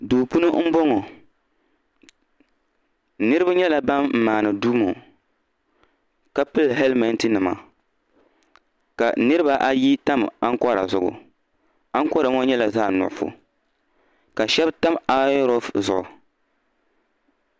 Duu puuni mboŋɔ niriba nyɛla ban maani duu ŋɔ ka pili helimenti nima ka niriba ayi tam ankɔran nim zuɣu ankɔran ŋɔ nyɛla zaɣ nuɣso ka shɛb tam ayonrɔk zuɣu